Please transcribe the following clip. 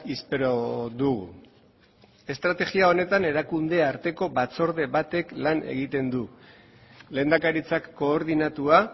espero dugu estrategia honetan erakunde arteko batzorde batek lan egiten du lehendakaritzak koordinatua